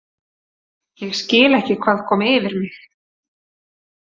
Ég skil ekki hvað kom yfir mig.